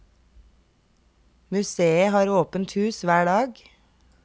Museet har åpent hus hver dag.